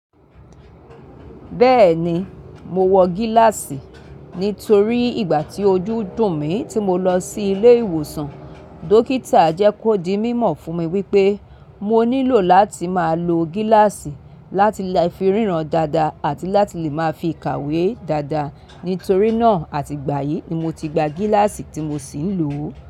Bẹ́ẹ̀ni, mo wọ gíláàsì nítorí ìgbà tí ojú dùn mí tí mo lọ sí ilé ìwòsàn, dókítà jẹ́ kó di mímọ̀ fún mi wípé mo nílò láti máa lo gíláàsì láti lè fi ríran dáadáa àti láti lè máa fi kàwé dáadáa. Nítorí náà àti gbà yìí ni mo ti gba gíláàsì tí mo si ń lò o.